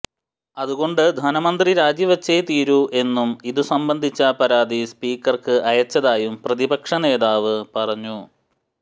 അതുകൊണ്ട് ധനമന്ത്രി രാജിവച്ചേ തീരൂ എന്നും അതുസംബന്ധിച്ച പരാതി സ്പീക്കര്ക്ക് അയച്ചതായും പ്രതിപക്ഷനേതാവ് പറഞ്ഞു